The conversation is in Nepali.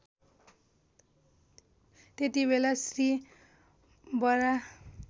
त्यतिबेला श्री बराह